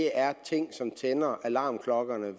er ting som tænder alarmklokkerne